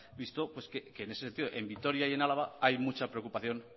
visto pues que en ese sentido en vitoria y en álava hay mucha preocupación